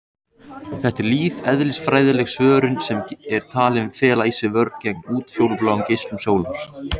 Þetta er lífeðlisfræðileg svörun sem er talin fela í sér vörn gegn útfjólubláum geislum sólar.